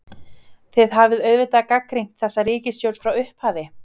Þið hafið auðvitað gagnrýnt þessa ríkisstjórn frá upphafi?